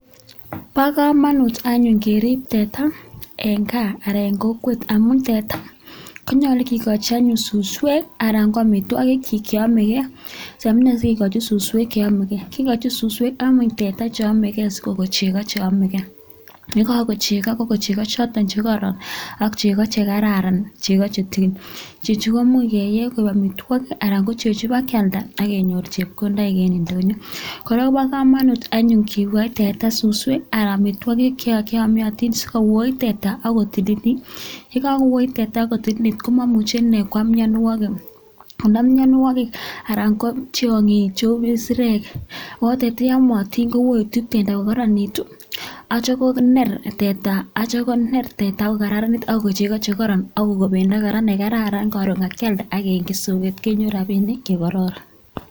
Bo kamanut anyun kerib teta en gaa anan eng kokwet amun teta konyolu anyon ke kochi suswek anan ko amitwogik che kaime, amune sikikochi suswek cheamekee? Kikochi suswek ame teta che ame gee sikokon chego che amegee. Ye kako chego ko chego choton che kororon ak cheko che kararan chego che chechu ko much keye amitwogik chechu ba kealda akenyoru chepkondoik en ndonyo. kora koba kamanut anyon kikoi teta suswek anan amitwokik che kiamiatin sikowoit teta akotililit. Ye kakuoit teta akutililit ko mamuchi ne koam mianwokik konam mianwokik anan ko tyong'ik cheu kisirek, yamotin kowoitu teta aku kararanitu acha koner teta akukararanit akukonu chego che kororon akukon bendo kora ne kararan karon kakialda akeny eng soken konu robinik che kororon.